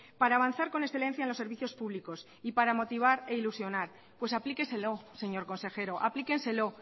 para avanzar con excelencia en los servicios públicos y para motivar e ilusionar pues aplíqueselo señor consejero aplíquenselo